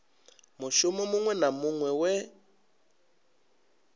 mushumo muṅwe na muṅwe we